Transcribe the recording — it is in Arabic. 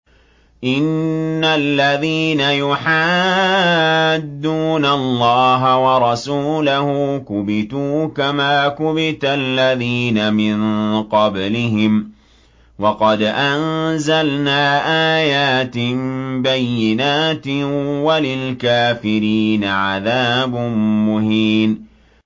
إِنَّ الَّذِينَ يُحَادُّونَ اللَّهَ وَرَسُولَهُ كُبِتُوا كَمَا كُبِتَ الَّذِينَ مِن قَبْلِهِمْ ۚ وَقَدْ أَنزَلْنَا آيَاتٍ بَيِّنَاتٍ ۚ وَلِلْكَافِرِينَ عَذَابٌ مُّهِينٌ